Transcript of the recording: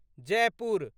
Jaipur